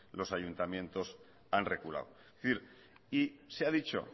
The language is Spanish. los ayuntamientos han reculado es decir y se ha dicho